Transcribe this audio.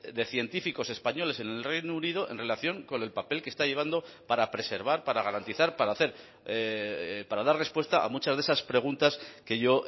de científicos españoles en el reino unido en relación con el papel que está llevando para preservar para garantizar para hacer para dar respuesta a muchas de esas preguntas que yo